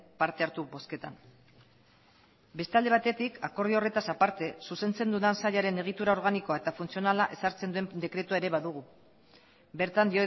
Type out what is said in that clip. parte hartu bozketan beste alde batetik akordio horretaz aparte zuzentzen dudan sailaren egitura organikoa eta funtzionala ezartzen den dekretua ere badugu bertan